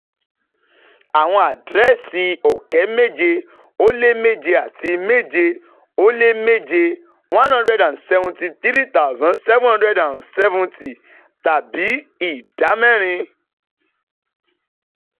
Àwọn àdírẹ́sì ọ̀kẹ́ méje ó lé méje àti méje ó lé méje [ one hundred seventy three thousand seven hundred seventy ], tàbí ìdá mẹ́rin